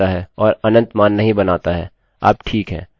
अब जो हम टाइप कर रहे हैं do है